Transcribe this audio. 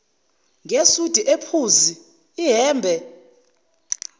ngesudi ephuzi ihhembe